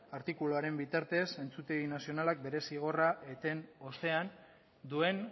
artikuluaren bitartez entzutegi nazionalak bere zigorra eten ostean duen